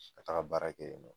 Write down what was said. Ka taga baara kɛ yen nɔ